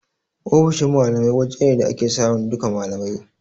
Ofishin malamai waje ne da ake samun duka malamai